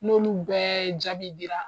N'olu bɛɛ jaabi dira.